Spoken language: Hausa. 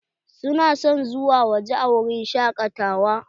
Su na son zuwa waje a wurin shakatawa.